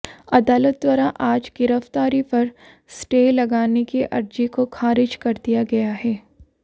अदालत द्वारा आज गिरफ्तारी पर स्टे लगाने की अर्जी को खारिज कर दिया गया है